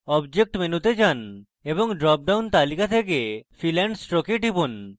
object মেনুতে যান এবং drop down তালিকা থেকে fill and stroke এ টিপুন